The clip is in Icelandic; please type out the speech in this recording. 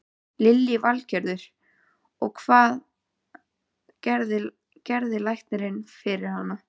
Lillý Valgerður: Og, hvað gerði læknirinn fyrir hana?